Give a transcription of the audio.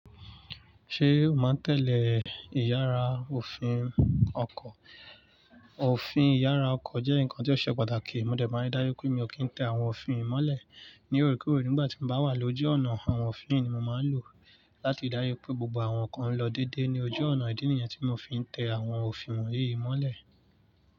Ṣé o máa tẹ̀lé ìyára òfin ọkọ̀? Òfin ìyára ọkọ̀ jẹ́ nǹkan tí ó ṣe pàtàkì. Mo dẹ̀ máa ń dárí pé mi ò kí ń tẹ àwọn òfin mọ́lẹ̀ ní oorekoore nígbà tí mo bá wà lójú ọ̀nà. Àwọn òfin yi ni mo máa ń lò láti dárí pé gbogbo àwọn kan lọ déédéé ní ojú ọ̀nà. Ìdí nìyẹn tí mo fi ń tẹ àwọn òfin wọ̀nyí mọ́lẹ̀.